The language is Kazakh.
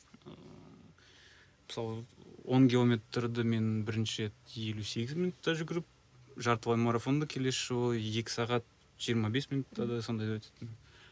ыыы мысалы он километрді мен бірінші рет елу сегіз минутта жүгіріп жартылай марафонды келесі жолы екі сағат жиырма бес минутта да сондай да өтетінмін